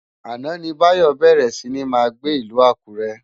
Áná ni Bayo bèrè si ni má gbé Ilù Akure